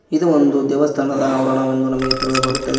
ಇದು ಒಂದು ದೇವಸ್ಥಾನದ ಅವರಣವೆಂದು ನಮಗೆ ತಿಳಿದು ಬರುತ್ತದೆ.